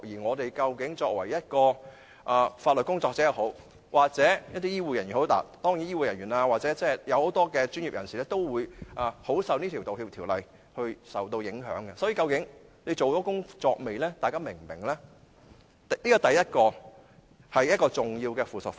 無論是作為法律工作者、醫護人員，還是其他專業人士，都會受這項《道歉條例》影響，究竟律政司等是否做了這些宣傳和教育工作，大家又是否明白呢？